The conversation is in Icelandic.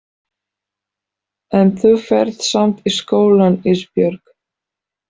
En þú ferð samt í skólann Ísbjörg.